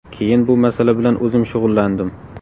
Keyin bu masala bilan o‘zim shug‘ullandim.